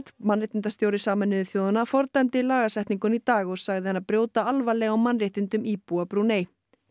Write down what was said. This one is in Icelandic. mannréttindastjóri Sameinuðu þjóðanna fordæmdi lagasetninguna í dag og sagði hana brjóta alvarlega á mannréttindum íbúa Brúnei